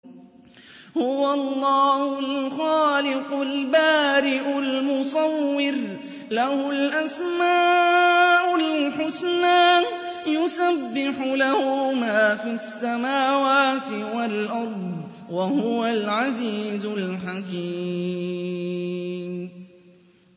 هُوَ اللَّهُ الْخَالِقُ الْبَارِئُ الْمُصَوِّرُ ۖ لَهُ الْأَسْمَاءُ الْحُسْنَىٰ ۚ يُسَبِّحُ لَهُ مَا فِي السَّمَاوَاتِ وَالْأَرْضِ ۖ وَهُوَ الْعَزِيزُ الْحَكِيمُ